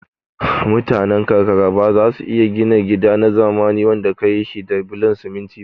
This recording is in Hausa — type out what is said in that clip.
Mutane karkara bazasu iya gina gida na zamani wanda kayi shi da bulon siminti ba